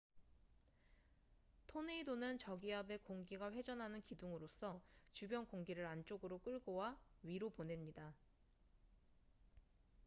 토네이도는 저기압의 공기가 회전하는 기둥으로서 주변 공기를 안쪽으로 끌고 와 위로 보냅니다